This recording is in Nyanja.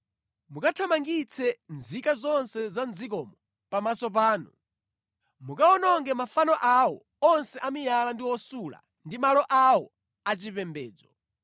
mukathamangitse nzika zonse za mʼdzikomo pamaso panu. Mukawononge mafano awo onse a miyala ndi osula ndi malo awo achipembedzo.